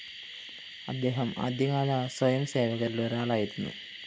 അദ്ദേഹം ആദ്യകാല സ്വയംസേവകരില്‍ ഒരാളായിരുന്നു